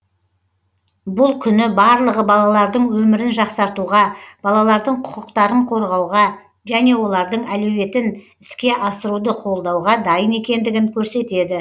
бұл күні барлығы балалардың өмірін жақсартуға балалардың құқықтарын қорғауға және олардың әлеуетін іске асыруды қолдауға дайын екендігін көрсетеді